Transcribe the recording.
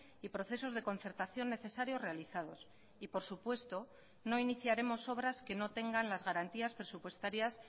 y procesos de concertación necesarios realizados y por supuesto no iniciaremos obras que no tengan las garantías presupuestarias